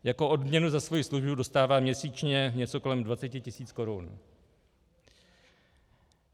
Jako odměnu za svoji službu dostává měsíčně něco kolem 20 tis. korun.